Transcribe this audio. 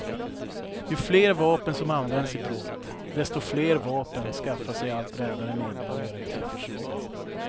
Ju fler vapen som används i brott, desto fler vapen skaffar sig allt räddare medborgare till försvar.